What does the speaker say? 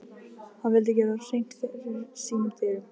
Hann vildi gera hreint fyrir sínum dyrum.